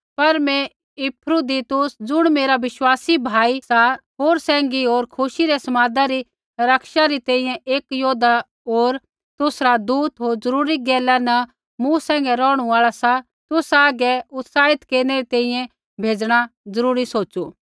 पर मैं इपफ्रुदीतुस ज़ुण मेरा विश्वासी भाई सा होर सैंघी होर खुशी रै समादा री रक्षा री तैंईंयैं एक योद्धा होर तुसरा दूत होर जरूरी गैला न मूँ सैंघै रौहणु आल़ा सा तुसा हागै उत्साहित केरनै री तैंईंयैं भेजणा जरूरी सोचु